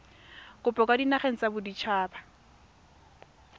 kopo kwa dinageng tsa baditshaba